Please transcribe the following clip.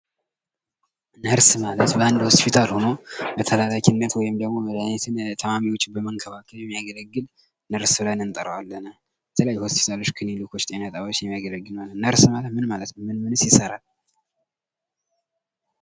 ነርስ ማለት በአንድ ሆስፒታል ሆኖ በተላላኪነት ወይም ደግሞ መድሃኒት ታማሚዎችን በመንከባከብ የሚያገለግል ነርስ ብለን እንጠራዋለን ። በተለይ ሆስፒታሎች ፣ ክኒሊኮች፣ ጤና ጣቢያዎች የሚያገለግል ነው ። ነርስ ማለት ምን ማለት ነው ? ምን ምንስ ይሰራል ?